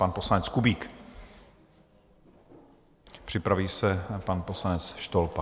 Pan poslanec Kubík, připraví se pan poslanec Štolpa.